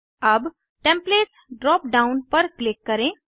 अब templates drop down पर click करें